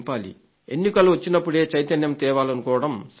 ఎన్నికలొచ్చినప్పుడే చైతన్యం తేవాలనుకోవడం సరికాదు